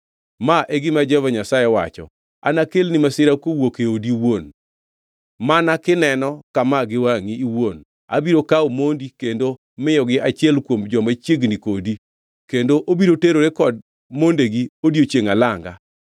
“Ma e gima Jehova Nyasaye wacho: ‘Anakelni masira kowuok e odi iwuon. Mana kineno kama gi wangʼi iwuon abiro kawo mondi kendo miyogi achiel kuom joma chiegni kodi, kendo obiro terore kod mondegi odiechiengʼ alanga.